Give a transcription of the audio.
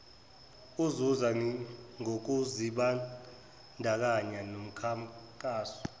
uzuza ngokuzibandakanya nomkhankaso